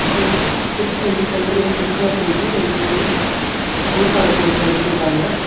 பதீங்ன steps வந்து சென்டர்ல red colour பெயிண்டும் ரெண்டு சைடுலையும் ஒயிட் கலர் பெயிண்டும் அடிச்சுருக்காங்க.